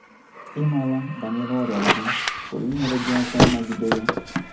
Ịmara banyere ọrịa gị pụrụ inyere gị aka ịnagide ya